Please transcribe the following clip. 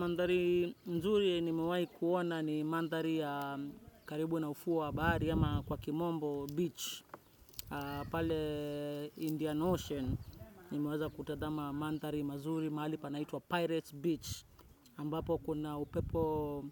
Mandhari mzuri nimewahi kuona ni mandhari karibu na ufuo wa bahari au kwa Kimombo Beach, pale Indian Ocean, nimeweza kutazama mandhari nzuri mahali panaitwa Pirates Beach, ambapo kuna upepo,